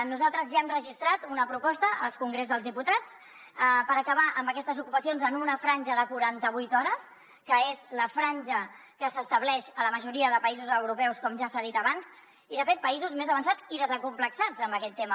nosaltres ja hem registrat una proposta al congrés dels diputats per acabar amb aquestes ocupacions en una franja de quarantavuit hores que és la franja que s’estableix a la majoria de països europeus com ja s’ha dit abans i de fet països més avançats i desacomplexats en aquest tema